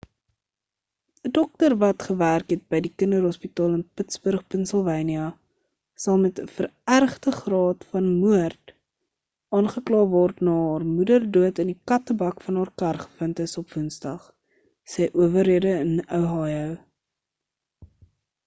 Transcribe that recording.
'n dokter wat gewerk het by die kinderhospitaal van pittsburg pennsylvanië sal met 'n verergde graad van moord aangekla word na haar moeder dood in die kattebak van haar kar gevind is op woensdag sê owerhede in ohio